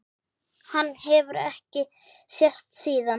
Hann hefur ekki sést síðan!